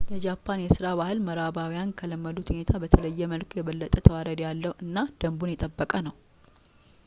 የጃፓን የሥራ ባህል ምዕራባውያን ከለመዱት ሁኔታ በተለየ መልኩ የበለጠ ተዋረድ ያለው እና ደንቡን የጠበቀ ነው